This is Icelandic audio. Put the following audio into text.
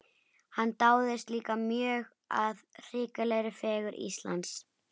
Hann dáðist líka mjög að hrikalegri fegurð Íslands.